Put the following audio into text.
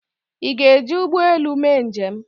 ị ga-eji ụgbọ elu mee njem?